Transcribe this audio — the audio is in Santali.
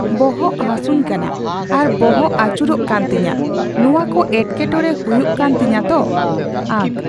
ᱵᱚᱦᱚᱜ ᱦᱟᱥᱩᱧᱠᱟ ᱱᱟ ᱟᱨ ᱵᱚᱦᱚᱜ ᱟᱹᱪᱩᱨᱚᱜ ᱠᱟᱱ ᱛᱤᱧᱟᱹ᱾ ᱱᱚᱣᱟ ᱠᱚ ᱮᱴᱠᱮᱴᱚᱲᱮ ᱦᱩᱭᱩᱜ ᱠᱟᱱ ᱛᱤᱧᱟᱹ ᱛᱚ᱾ ᱟᱜ